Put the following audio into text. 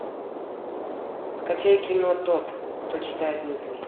скачай кино тот кто читает мысли